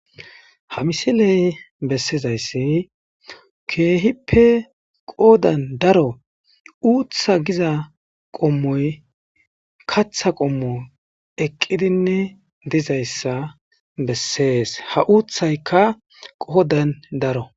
Ha misiley bessizayssi keehippe qoodan daro uutha giza qommoy katha qommo eqqidinne dizayssa bessees ha uuthaykka qoodan daro.